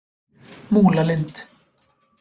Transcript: Múlalind